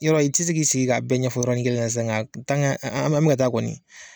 Yɔrɔ i ti si k'i sigi ka bɛɛ ɲɛfɔ yɔrɔnin kelen sa nga an mɛ ka taa kɔni